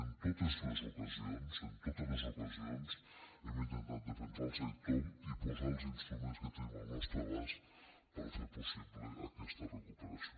en totes les ocasions en totes les ocasions hem intentat defensar el sector i posar els instruments que tenim al nostre abast per fer possible aquesta recuperació